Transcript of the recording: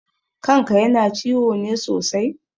Kan ka yana ciwo ne sosai?